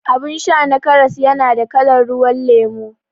Abun sha na karas yana da kalan ruwan lemo